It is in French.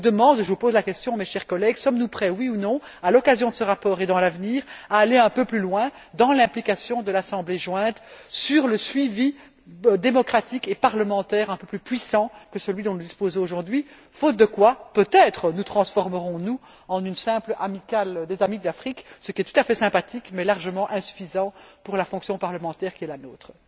Je vous demande et je pose la question, mes chers collègues sommes nous prêts, oui ou non, à l'occasion de ce rapport et à l'avenir, à aller un peu plus loin dans l'application de l'Assemblée jointe sur un suivi démocratique et parlementaire un peu plus puissant que celui dont nous disposons aujourd'hui, faute de quoi, peut être nous transformerons nous en une simple amicale des amis de l'Afrique, ce qui est tout à fait sympathique mais largement insuffisant pour la fonction parlementaire qui est la nôtre?